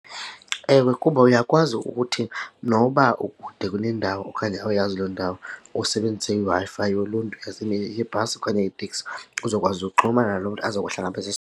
Ewe, kuba uyakwazi ukuthi noba ukude kunendawo okanye awuyazi loo ndawo usebenzise iWi-Fi yoluntu yebhasi okanye yeteksi uzokwazi uxhumana nalo mntu azokuhlangabeza .